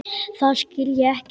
Það skil ég ekki.